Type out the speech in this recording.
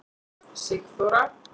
Sigþóra